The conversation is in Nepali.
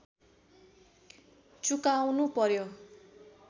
चुकाउनु पर्‍यो